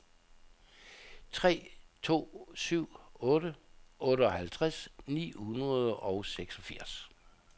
tre to syv otte otteoghalvtreds ni hundrede og seksogfirs